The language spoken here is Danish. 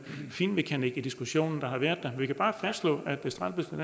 finmekanik i diskussionen der har været vi kan bare fastslå